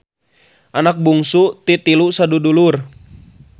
Anak bungsu ti tilu sadudulur.